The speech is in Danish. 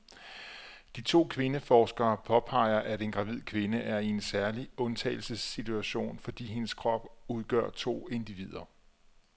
De to kvindeforskere påpeger, at en gravid kvinde er i en særlig undtagelsessituation, fordi hendes krop udgør to individer.